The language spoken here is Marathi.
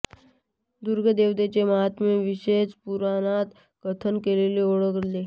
दुर्गा देवतेचे माहात्म्य भविष्य पुराणात कथन केलेले आढळते